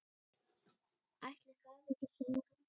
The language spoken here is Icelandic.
Ætli það ekki segir hann.